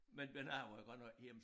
Men men jeg var jo godt nok hjemme